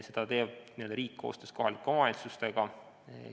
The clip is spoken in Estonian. Seda teeb riik koostöös kohalike omavalitsustega.